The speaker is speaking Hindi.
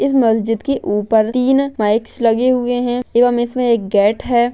इस मस्जिद के ऊपर तीन माईक लगे हुए है एवम एक गेट है।